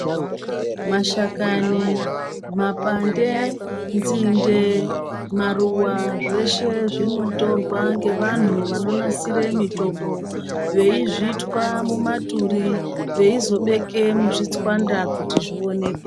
Mashakani, mapande , ndzinde, maruwa zveshe zvinotorwa ngevanu vanonasire mitombo. Veyizvithwa mumaturi, veyizobeke muzvitsvanda kuti zviwoneke.